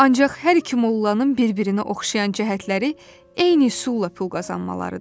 Ancaq hər iki mollanın bir-birinə oxşayan cəhətləri eyni üsulla pul qazanmalarıdır.